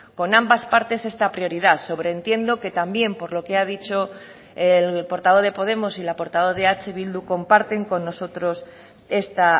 con ambas partes esta prioridad sobreentiendo que también por lo que ha dicho el portavoz de podemos y la portavoz de eh bildu comparten con nosotros esta